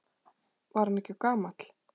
Var hann ekki of gamall?